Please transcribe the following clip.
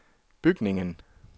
bygningen